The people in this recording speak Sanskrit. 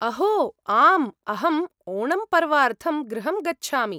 अहो! आम्, अहं ओणम् पर्वार्थं गृहं गच्छामि।